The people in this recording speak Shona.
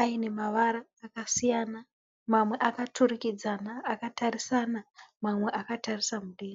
aine mavara akasiyana mamwe akaturikidzana akatarisana. Mamwe akatarisa mudenga